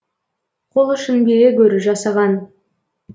қол ұшын бере гөр жасаған